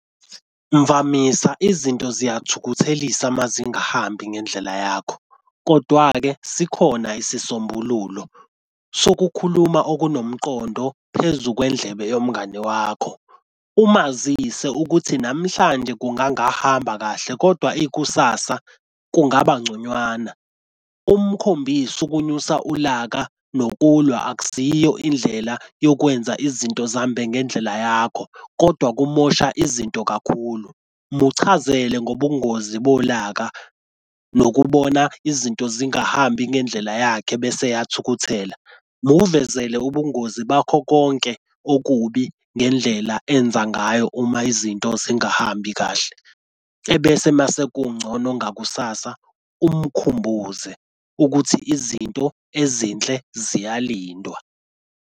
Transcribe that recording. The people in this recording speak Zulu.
Mvamisa izinto ziyathukuthelisa uma zingahambi ngendlela yakho kodwa-ke sikhona isisombululo sokukhuluma okunomqondo phezu kwendlebe yomngani wakho. Umazise ukuthi namhlanje kungangahamba kahle kodwa ikusasa kungaba ngconywana. Umkhombise ukunyusa ulaka nokulwa akusiyo indlela yokwenza izinto zihambe ngendlela yakho kodwa kumosha izinto kakhulu. Muchazele ngobungozi bolaka nokubona izinto zingahambi ngendlela yakhe bese eyathukuthela. Muvezele ubungozi bakho konke okubi ngendlela enza ngayo uma izinto zingahambi kahle, ebese mase kungcono ngakusasa umkhumbuze ukuthi izinto ezinhle ziyalindwa.